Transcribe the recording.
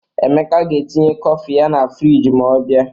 Emeka ga-etinye kọfị ya na friji ma ọ bịa